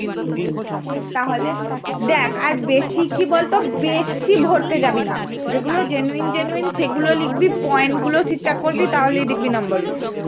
হম তাহলে, দেখ আর বেশি কি বলতো? বেশি ভরতে যাবি না যেগুলো genuine genuine সেগুলো লিখবি point গুলোও ঠিক ঠাক করবি, তাহলেই দেখবি নাম্বার উঠছে।